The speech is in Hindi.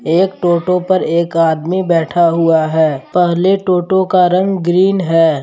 एक टोटो पर एक आदमी बैठा हुआ है पहले टोटो का रंग ग्रीन है।